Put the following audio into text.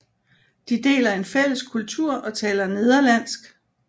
De deler en fælles kultur og taler nederlandsk